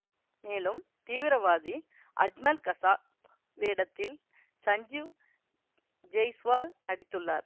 மேலும் தீவிரவாதி அஜ்மல் கசாப் வேடத்தில் சஞ்சீவ் ஜெய்ஸ்வால் நடித்துள்ளார்